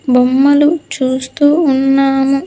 బొమ్మలు చూస్తూ ఉన్నాము.